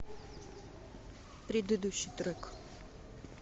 предыдущий трек